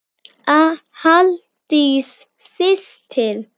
Halldís systir.